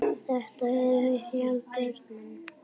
Þetta er vinsælt hjá börnum.